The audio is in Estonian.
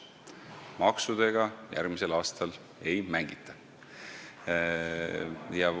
Maksudega järgmisel aastal ei mängita.